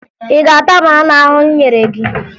Ị ga-ata banana ahụ m nyere gị!